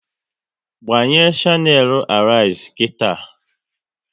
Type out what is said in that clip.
Gbanye shanelu Arise nkịta!